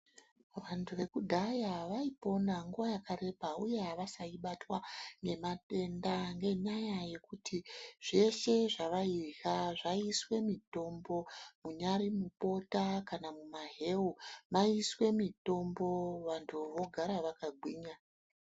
Vantu vekudhaya vaipona nguwa yakareba uye avaisai batwa nematenda nenyaya yekuti zveshe zvavairya zvaiiswe mitombo, munyari mubota kana mumaheu maiiswe mitombo vantu vogara vakagwinya.